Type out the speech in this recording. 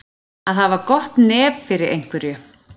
Að hafa gott nef fyrir einhverju